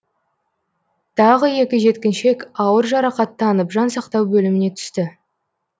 тағы екі жеткіншек ауыр жарақаттанып жансақтау бөліміне түсті